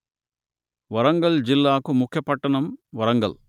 వరంగల్ జిల్లా కు ముఖ్య పట్టణం వరంగల్